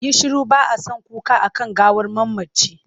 Yi shiru! ba a son kuka a kan gawar mamaci.